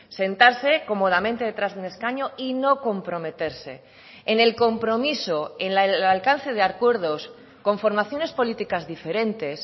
sentarse cómodamente detrás de un escaño y no comprometerse en el compromiso en el alcance de acuerdos con formaciones políticas diferentes